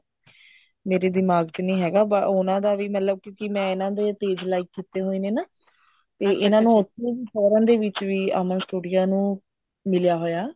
ਮੇਰੇ ਦਿਮਾਗ ਚ ਨਹੀਂ ਹੈਗਾ ਉਹਨਾ ਦਾ ਵੀ ਮਤਲਬ ਕਿਉਂਕਿ ਮੈਂ ਇਹਨਾ ਦੇ page like ਕਿਤੇ ਹੋਏ ਨੇ ਨਾ ਤੇ ਇਹਨਾ ਨੂੰ foreign ਵਿੱਚ ਵੀ ਅਮਨ studio ਨੂੰ ਮਿਲਿਆ ਹੋਇਆ